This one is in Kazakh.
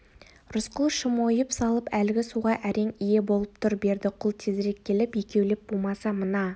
рысқұл шым ойып салып әлгі суға әрең ие болып тұр бердіқұл тезірек келіп екеулеп бумаса мына